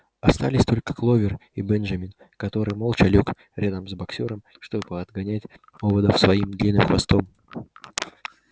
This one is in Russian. остались только кловер и бенджамин который молча лёг рядом с боксёром чтобы отгонять оводов своим длинным хвостом